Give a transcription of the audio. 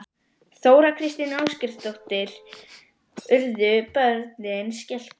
Þóra Kristín Ásgeirsdóttir: Urðu börnin skelkuð?